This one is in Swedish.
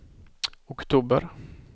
oktober